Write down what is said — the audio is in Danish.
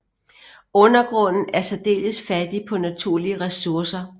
Undergrunden er særdeles fattig på naturlige ressourcer